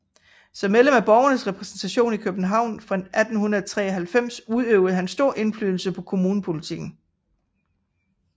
Som medlem af borgernes repræsentation i København fra 1893 udøvede han stor indflydelse på kommunepolitikken